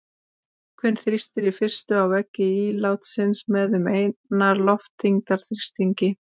Vökvinn þrýstir í fyrstu á veggi ílátsins með um einnar loftþyngdar þrýstingi.